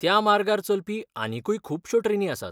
त्या मार्गार चलपी आनीकय खुबश्यो ट्रेनी आसात.